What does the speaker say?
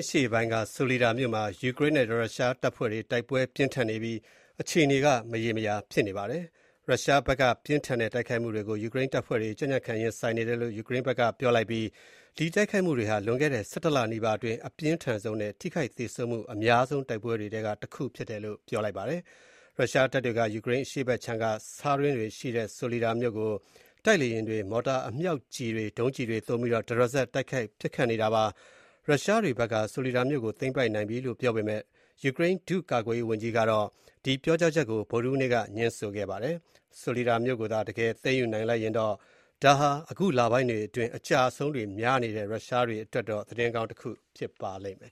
အရှေ့ပိုင်းက ဆိုလီဒါ မြို့မှာ ယူကရိန်းနဲ့ ရုရှားတပ်ဖွဲ့တွေ တိုက်ပွဲတွေအပြင်းအထန် ဖြစ်ပွားနေပြီး မြို့ရဲ့ အခြေအနေက မရေမရာနဲ့ စိုးရိမ်ရတဲ့ အနေအထားမှာရှိနေပါတယ်။ ရုရှားဘက်က ပြင်းထန်တဲ့ တိုက်ခိုက်မှုတွေကို ယူကရိန်းတပ်ဖွဲ့တွေ ကြံ့ကြံ့ခံ ရင်ဆိုင်နေတယ်လို့ ယူကရိန်းဘက်က ပြောလိုက်ပြီး၊ ဒီတိုက်ခိုက်မှုတွေဟာ လွန်ခဲ့တဲ့ ၁၁ လနီးပါအတွင်း အပြင်းထန်ဆုံးနဲ့ ထိခိုက်သေဆုံးမှု အများဆုံး တိုက်ပွဲတွေထဲက တစ်ခုဖြစ်တယ်လို့ ပြောပါတယ်။ ရုရှားတပ်တွေက ယူကရိန်းအရှေ့ခြမ်းက ဆားတွင်းတွေရှိတဲ့ ဆိုလီဒါမြို့ကို တိုက်လေယာဉ်တွေ၊ မော်တာအမြောက်ကျည်တွေ၊ ဒုံးကျည်တွေ သုံးပြီးတော့ တရစပ် တိုက်ခိုက်နေတာဖြစ်ပါတယ်။ ရုရှားတွေဘက်က ဆိုလီဒါမြို့ကို သိမ်းပိုက်နိုင်လိုက်ပြီလို့ ပြောပေမယ့်၊ ယူကရိန်း ဒုတိယကာကွယ်ရေးဝန်ကြီးကတော့ ဒီပြောကြားချက်ကို ဗုဒ္ဓဟူးနေ့က ငြင်းဆိုခဲ့ပါတယ်။ ဆိုလီဒါမြို့ကိုသာ တကယ်သိမ်းယူနိုင်လိုက်တယ်ဆိုရင်တော့ ဒါဟာ အခုလပိုင်းတွေအတွင်း အကျအရှုံးတွေများနေတဲ့ ရုရှားတွေအတွက်တော့ သတင်းကောင်း တခုဖြစ်ပါလိမ့်မယ်